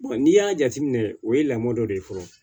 n'i y'a jateminɛ o ye lamɔn dɔ de ye fɔlɔ